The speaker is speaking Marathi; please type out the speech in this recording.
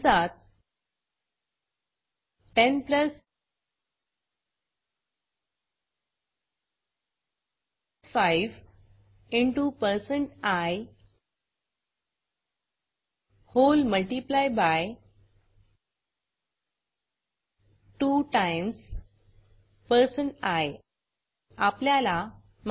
कंसात 10 plus 5 into percent I whole multiply by 2 times percent I आपल्याला 10